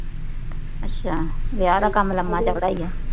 ਅੱਛਾ ਵਿਆਹ ਦਾ ਕੰਮ ਲੰਮਾ ਚੱਲਦਾ